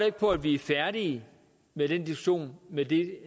ikke på at vi er færdige med den diskussion med det